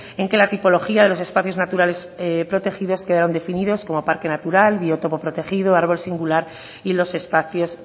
en que la tipología de los espacios naturales protegidos quedan definidos como parque natural biotopo protegido árbol singular y los espacios